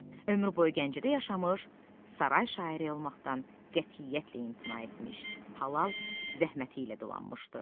Ömrü boyu Gəncədə yaşamış, saray şairi olmaqdan qətiyyətlə imtina etmiş, halal zəhməti ilə adlanmışdı.